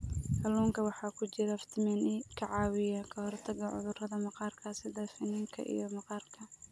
Kalluunka waxaa ku jira fiitamiin e ka caawiya ka hortagga cudurrada maqaarka sida finanka iyo maqaarka.